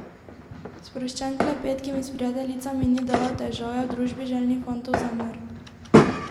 Sproščen klepet, ki mi s prijateljicami ni delal težav, je v družbi željnih fantov zamrl.